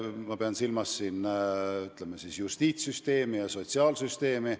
Ma pean silmas justiitssüsteemi ja sotsiaalsüsteemi.